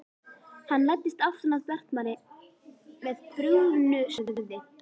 Hann læddist aftan að Bjartmari með brugðnu sverði.